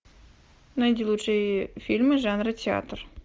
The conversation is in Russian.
найди лучшие фильмы жанра театр